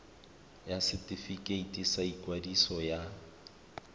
ya setefikeiti sa ikwadiso ya